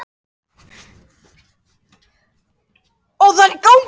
Þóra Kristín: Eggert, hvaða tilfinningu hefurðu fyrir jólaösinni núna?